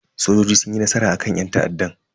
Sojojin sun yi nasara akan yan ta'addan.